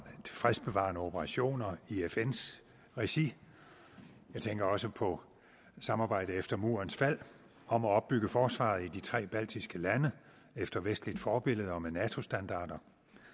fredsbevarende operationer i fns regi jeg tænker også på samarbejdet efter murens fald om at opbygge forsvaret i de tre baltiske lande efter vestligt forbillede og med nato standarder